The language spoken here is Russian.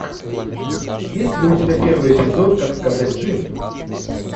есть ли у тебя первый эпизод как сказать джим